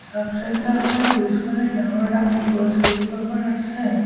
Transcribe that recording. চাব চেন্টাৰ খনৰ পিছপিনে ডাঙৰ ডাঙৰ গছ কেইজোপামান আছে।